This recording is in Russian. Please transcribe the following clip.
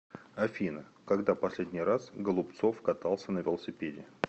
афина когда последний раз голубцов катался на велосипеде